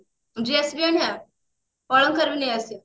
dress ବି ଆଣିବା ଅଳଙ୍କାର ବି ନେଇ ଆସିବା